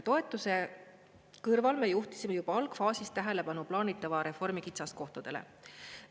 Toetuse kõrval me juhtisime juba algfaasis tähelepanu plaanitava reformi kitsaskohtadele.